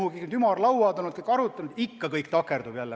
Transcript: Ümarlauad on olnud, arutelud on olnud, aga ikka kõik on takerdunud.